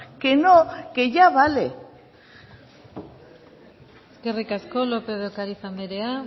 que no que ya vale eskerrik asko lópez de ocariz andrea